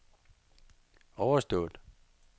overstået